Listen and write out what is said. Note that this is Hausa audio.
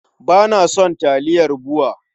Ba na son taliyar BUA.